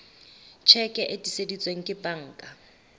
tjheke e tiiseditsweng ke banka